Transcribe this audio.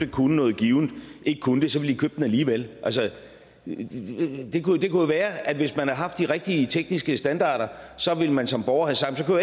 kunne noget givent ikke kunne det så ville købt den alligevel det kunne jo være at hvis man havde haft de rigtige tekniske standarder så ville man som borger have sagt så